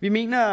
vi mener